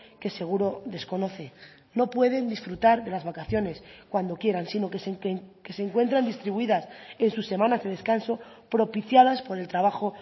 que seguro desconoce no pueden disfrutar de las vacaciones cuando quieran sino que se encuentran distribuidas en sus semanas de descanso propiciadas por el trabajo